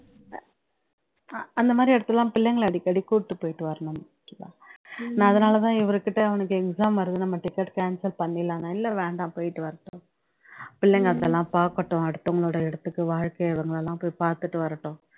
அந்தமாதிரி இடத்துல எல்லாம் பிள்ளைங்களை அடிக்கடி கூட்டிட்டு போயிட்டு வரணும் சுதா நான் அதுனால தான் இவருக்கிட்ட அவனுக்கு exam வருது நம்ம ticket cancel பண்ணிடலான்னேன் இல்ல வேண்டாம் போயிட்டு வரட்டும் பிள்ளைங்க அதெல்லாம் பாக்கட்டும் அடுத்தவங்களோட இடத்துக்கு வாழ்க்கை அவங்க எல்லாம் போய் பாத்துட்டு வரட்டும்